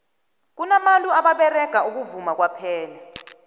kunabantu ababerega ukuvuma kwaphela